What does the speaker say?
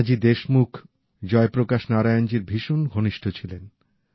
নানাজি দেশমুখ জয়প্রকাশ নারায়ণজীর ভীষণ ঘনিষ্ঠ ছিলেন